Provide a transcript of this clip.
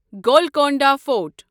Golconda fort